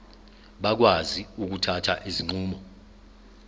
bakwazi ukuthatha izinqumo